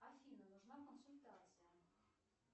афина нужна консультация